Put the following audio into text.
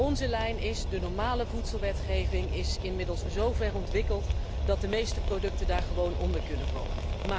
Onze lijn is de normale voedselwetgeving is inmiddels zo ver ontwikkeld dat de meeste producten daar gewoon onder kunnen vallen.